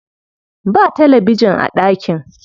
Ba talabijin a ɗakin.